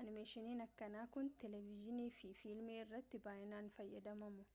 animeeshiinin akkanaa kun televidziinii fi filmii irrattii baay'inaan fayyadamamu